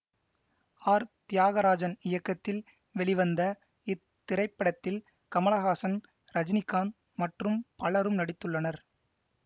R Thiagarajan இயக்கத்தில் வெளிவந்த இத்திரைப்படத்தில் கமலஹாசன் ரஜினிகாந்த் மற்றும் பலரும் நடித்துள்ளனர்